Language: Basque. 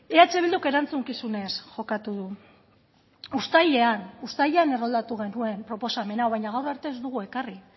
eh bilduk erantzukizunez jokatu du uztailean uztailean erroldatu genuen proposamen hau baina gaur arte ez dugu ekarri